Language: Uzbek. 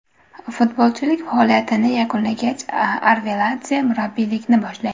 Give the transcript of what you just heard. Futbolchilik faoliyatini yakunlagach, Arveladze murabbiylikni boshlaydi.